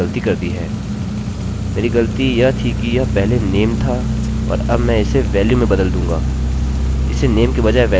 मुझे लगता है मैंने एक गलती कर दी है मेरी गलती यह थी कि यह पहले name था और अब मैं इसे value में बदल दूँगा